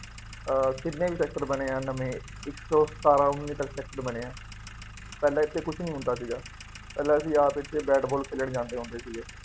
ਅਹ ਕਿੰਨੇ ਸੈਕਟਰ ਬਣੇ ਆ ਨਵੇਂ, ਇੱਕ ਸੋਂ ਸਤਾਰਾਂ ਉੱਨੀ ਤੱਕ ਸੈਕਟਰ ਬਣੇ ਆ, ਪਹਿਲਾਂ ਇੱਥੇ ਕੁੱਛ ਨਹੀਂ ਹੁੰਦਾ ਸੀਗਾ। ਪਹਿਲਾ ਅਸੀਂ ਆਪ ਇੱਥੇ ਬੈਟ ਬਾਲ ਖੇਲਣ ਜਾਂਦੇ ਹੁੰਦੇ ਸੀਗੇ।